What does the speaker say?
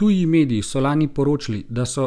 Tuji mediji so lani poročali, da so